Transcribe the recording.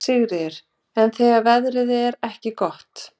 Sigríður: En þegar veðrið er ekki gott?